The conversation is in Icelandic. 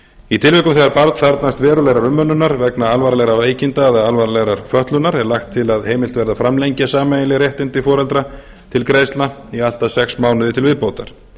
í tilvikum þegar barn þarfnast verulegrar umönnunar vegna alvarlegra veikinda eða alvarlegrar fötlunar er lagt til að heimilt verði að framlengja sameiginleg réttindi foreldra til greiðslna í allt að sex mánuði til viðbótar